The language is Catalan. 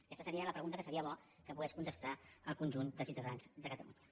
aquesta seria la pre·gunta que seria bo que pogués contestar al conjunt de ciutadans de catalunya